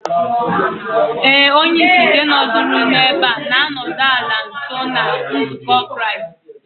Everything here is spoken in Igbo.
,Éè, onye-ìsì nke nọduru n'ebe a, nānọdu ala nso na nzukọ Kraist.